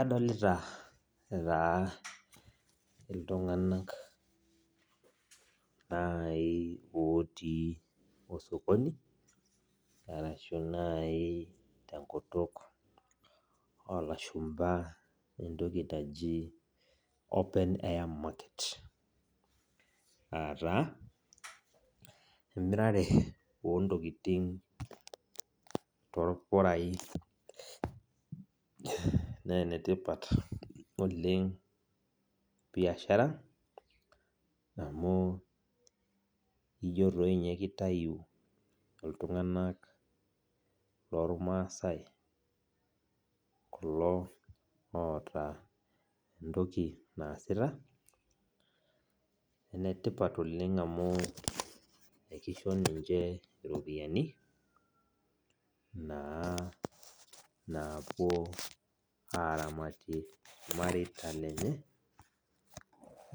Adolita taa iltung'anak nai otii osokoni, arashu nai tenkutuk olashumpa entoki naji open air market. Ataa, emirare ontokiting torpurai. Nenetipat oleng biashara, amu ijo toi nye kitayu iltung'anak lormasai kulo oota entoki naasita, enetipat oleng amu ekisho ninche iropiyiani, naa napuo aramatie irmareita lenye,